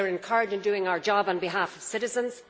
They are incurred in doing our job on behalf of citizens.